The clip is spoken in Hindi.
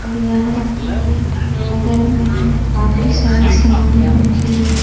और यहाँ के बगल में काफी सारे सामने रखी हुई --